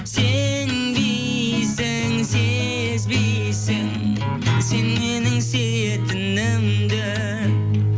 сенбейсің сезбейсің сен менің сүйетінімді